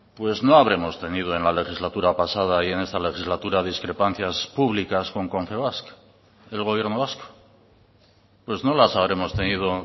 pues no habremos tenido en la legislatura pasada y en esta legislatura discrepancias públicas con confebask el gobierno vasco pues no las habremos tenido